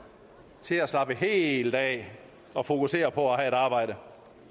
til at slappe heeelt af og fokusere på at have et arbejde